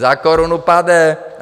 Za korunu pade.